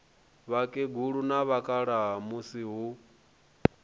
vhakegulu na vhakalaha musi hu